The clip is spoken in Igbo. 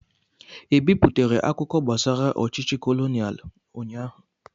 E biputere akụkọ gbasara ọchịchị kolonial ụnyaahụ?